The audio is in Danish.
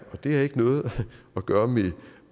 det har ikke noget at gøre med